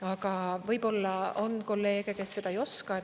Aga võib-olla on kolleege, kes seda ei oska.